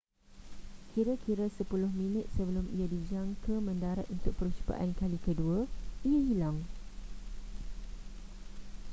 kira-kira sepuluh minit sebelum ia dijangka mendarat untuk percubaan kali kedua ia hilang